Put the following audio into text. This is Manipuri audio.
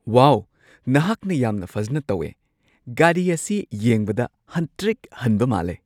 ꯋꯥꯎ! ꯅꯍꯥꯛꯅ ꯌꯥꯝꯅ ꯐꯖꯅ ꯇꯧꯋꯦ꯫ ꯒꯥꯔꯤ ꯑꯁꯤ ꯌꯦꯡꯕꯗ ꯍꯟꯇ꯭ꯔꯤꯛ-ꯍꯟꯕ ꯃꯥꯜꯂꯦ!